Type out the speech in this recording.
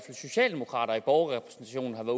socialdemokrater i borgerrepræsentationen har